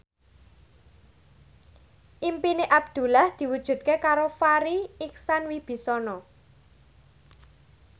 impine Abdullah diwujudke karo Farri Icksan Wibisana